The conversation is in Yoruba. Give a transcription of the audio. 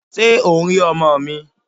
Ṣé o ń rí ọmọ mi?